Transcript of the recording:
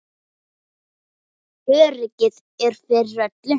Öryggið er fyrir öllu.